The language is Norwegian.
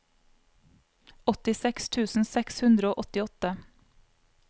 åttiseks tusen seks hundre og åttiåtte